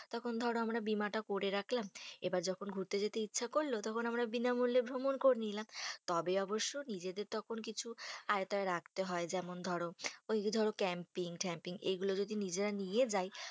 তখন ধরো আমরা বীমা টা করে রাখলাম। এবার যখন ঘুরতে যেতে ইচ্ছে করলো, তখন আমরা বিনামূল্যে ভ্রমণ করে নিলাম। তবে অবশ্য নিজেদের তখন কিছু আওতায় রাখতে হয়। যেমন ধরো, ওই যে ধরো camping tamping এইগুলো যদি নিজেরা নিয়ে যাই